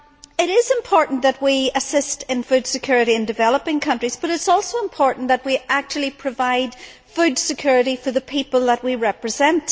It is important that we assist in food security in developing countries, but it is also important that we actually provide food security for the people that we represent.